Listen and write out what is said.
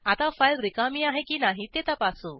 आता फाईल रिकामी आहे की नाही ते तपासू